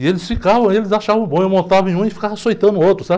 E eles ficavam, eles achavam bom, eu montava em um e ficava açoitando o outro, sabe?